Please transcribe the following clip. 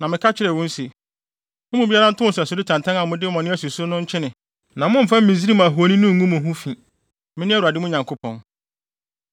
Na meka kyerɛɛ wɔn se, “Mo mu biara ntow nsɛsode tantan a mode mo ani asi so no nkyene na mommfa Misraim ahoni no ngu mo ho fi, mene Awurade, mo Nyankopɔn.”